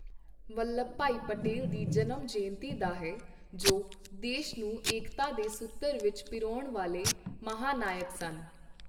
ਵੱਲਭ ਭਾਈ ਪਟੇਲ ਦੀ ਜਨਮ ਜਯੰਤੀ ਦਾ ਹੈ ਜੋ ਦੇਸ਼ ਨੂੰ ਏਕਤਾ ਦੇ ਸੂਤਰ ਵਿੱਚ ਪਿਰੋਣ ਵਾਲੇ ਮਹਾਨਾਇਕ ਸਨ।